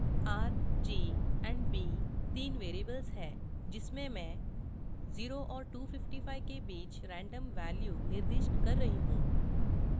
$r $g और $b तीन variables हैं जिसमें मैं 0 और 255 के बीच random values निर्दिष्ट कर रही हूँ